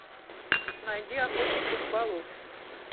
найди охотник и рыболов